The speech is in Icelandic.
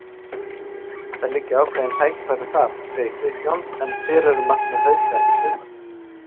Það liggja ákveðin tækifæri þar, segir Kristján en hver eru markmið Hauka í sumar?